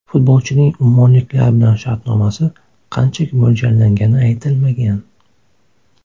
Futbolchining ummonliklar bilan shartnomasi qanchaga mo‘ljallangani aytilmagan.